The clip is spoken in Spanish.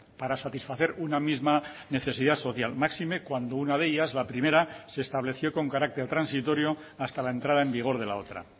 para satisfacer una misma necesidad social máxime cuando una de ellas la primera se estableció con carácter transitorio hasta la entrada en vigor de la otra